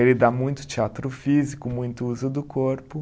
Ele dá muito teatro físico, muito uso do corpo.